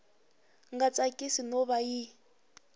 nga tsakisi no va yi